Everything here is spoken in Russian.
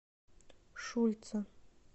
шульца